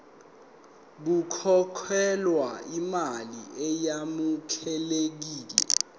kukhokhelwe imali eyamukelekile